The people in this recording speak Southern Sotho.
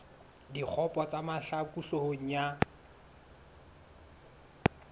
dikgopo tsa mahlaku hloohong ya